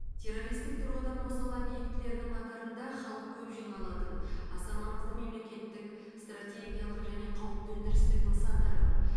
террористік тұрғыдан осал объектілердің қатарында халық көп жиналатын аса маңызды мемлекеттік стратегиялық және қауіпті өндірістік нысандар бар